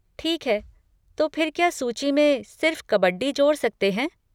ठीक है, तो फिर क्या सूची में सिर्फ़ कबड्डी जोड़ सकते हैं?